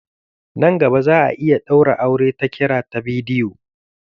Nan gaba za'a iya ɗaura aure ta kira ta bidiyo.